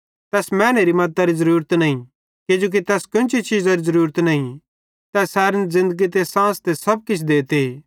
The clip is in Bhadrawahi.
तैस मैनेरे मद्दतरी ज़रूरत नईं किजोकि तै केन्ची चीज़री ज़रूरत नईं तै सैरन ज़िन्दगी ते सांस ते सब किछ देते